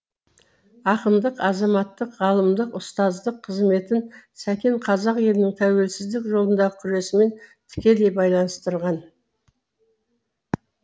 ақындық азаматтық ғалымдық ұстаздық қызметін сәкен қазақ елінің тәуелсіздік жолындағы күресімен тікелей байланыстырған